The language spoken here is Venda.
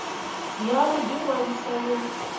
ya u ḓi ṅwalisa yo